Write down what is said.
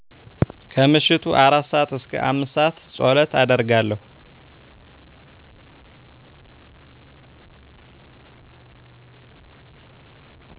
ከምሽቱ 4:00-5:00 ፀሎት አደርጋለሁ